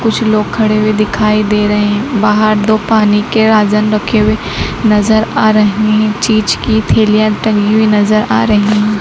कुछ लोग खड़े हुए दिखाई दे रहे बाहर दो पानी के आजन रखे हुए नजर आ रहे हैं चीज की थैलियां टंगी हुई नजर आ रही है।